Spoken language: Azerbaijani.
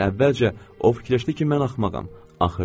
Yəni əvvəlcə o fikirləşdi ki, mən axmağam.